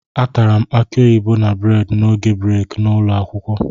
Atara m akị oyibo na bredị n'oge breeki n'ụlọ akwụkwọ